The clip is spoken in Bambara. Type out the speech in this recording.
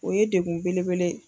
O ye degun belebele ye.